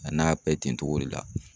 A n'a bɛ ten togo de la.